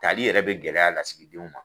Tali yɛrɛ be gɛlɛya lasigidenw ma